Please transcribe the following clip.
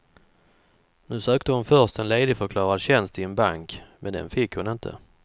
Nu sökte hon först en ledigförklarad tjänst i en bank, men den fick hon inte.